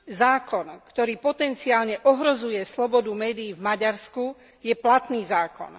Zákon, ktorý potenciálne ohrozuje slobodu médií v Maďarsku, je platný zákon.